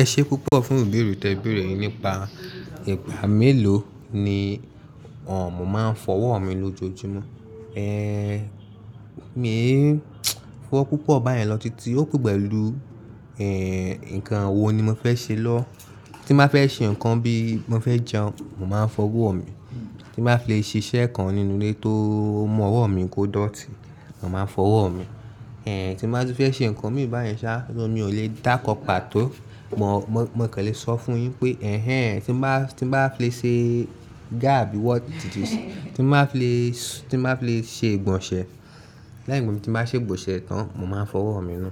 Ẹ ṣé púpọ̀ fún ibèèr rẹ tí ẹ beerẹ̀ yìí nípa ìgbà mélòó ni mo máa ń fọwọ́ mi lójoojúmọ́. Mí fọ́wọ́ púpọ̀ báyẹn lọ títí ó pè pẹ̀lú, ǹkan wo ni mo fẹ́ ṣe lọ́. Tí mba fẹ́ ṣe ǹkan bí mo fẹ́ jẹun, mò máa ń fọwọ́ mi. Tí mba fi le ṣe iṣẹ́ kan nínú ilé tó mú ọ̀rọ̀ mi kò dọ̀tí, mò máa ń fọwọ́ mi. Tí mba tun fẹ́ ṣe ǹkan mi báyẹn ṣá, mo ò lè dákọ pàtó. Mò, mò kàn le sọ fún un pé "ẹ́hẹ́n" tí mo bá, tí mo bá fẹ́ ṣe ga àbí wọ tìtìṣí, tí mo bá fẹ́ ṣe, tí mo bá fẹ́ ṣe ìgbọ̀nsẹ̀, láìpẹ́ bí mo bá ṣe ìgbọ̀nsẹ̀ tán, mò máa ń fọwọ́ mi nù.